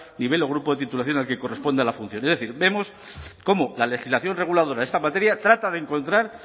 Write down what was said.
nivel o grupo de titulación al que corresponde la función es decir vemos cómo la legislación reguladora en esta materia trata de encontrar